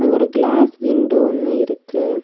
ஒரு glass window ஒன்னு இருக்கு.